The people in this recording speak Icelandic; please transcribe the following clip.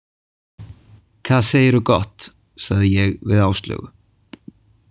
Kað seiirru gott, sagði ég við Áslaugu.